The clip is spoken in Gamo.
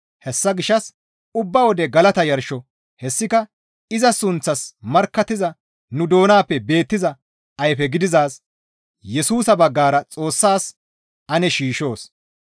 Hessa gishshas ubba wode galata yarsho hessika iza sunththaas markkattiza nu doonappe beettiza ayfe gididaaz Yesusa baggara Xoossas ane shiishshoos.